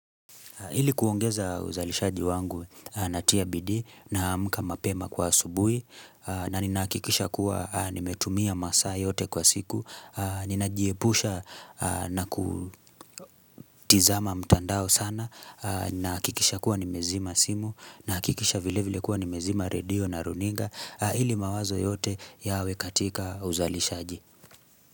Hili kuongeza uzalishaji wangu natia bidi na amka mapema kwa asubuhi na ninahakikisha kuwa nimetumia masaa yote kwa siku. Ninajiepusha na kutizama mtandao sana nahakikisha kuwa nimezima simu nahakikisha vile vile kuwa nimezima radio na runinga ili mawazo yote yawe katika uzalishaji.